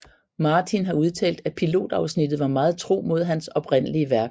Martin har udtalt at pilotafsnittet var meget tro mod hans oprindelige værk